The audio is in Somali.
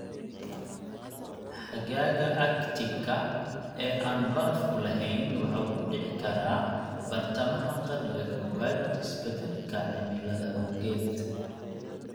Xagaaga Arctic-ka ee aan barafku lahayn waxa uu dhici karaa badhtamaha qarniga kowaad isbeddelka cimilada awgeed.